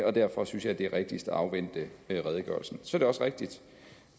og derfor synes jeg det er rigtigst at afvente redegørelsen så er det også rigtigt